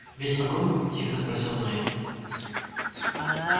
весь вагон тихо спросил найд